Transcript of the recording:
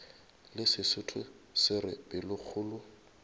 le sesotho se re pelokgolo